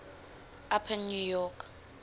upper new york